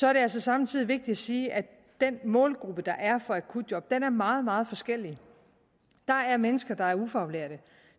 er det altså samtidig vigtigt at sige at den målgruppe der er for akutjob er meget meget forskelligartet der er mennesker der er ufaglærte og